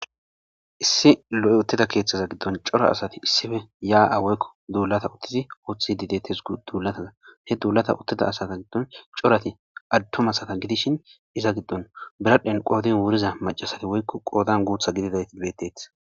issi lo7i uttida keeththaza giddon cora asati issife yaa7a woykko duulata uttizi uthth didetis duulatana he duulata uttida asata giddon corati adtom asata gidishin iza giddon biradhen qoodin wuriza macasati woykko qoodan guutha gididayti betteti